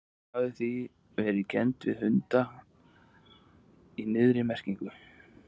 Hún hafi því verið kennd við hunda í niðrandi merkingu.